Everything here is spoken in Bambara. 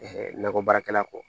nakɔ baarakɛla kɔ